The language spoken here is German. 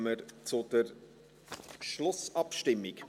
Dann kommen wir zur Schlussabstimmung.